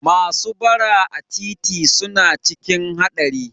Masu bara a titi suna cikin haɗari